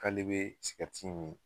K'ale be in mi.